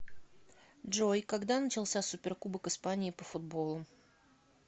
джой когда начался суперкубок испании по футболу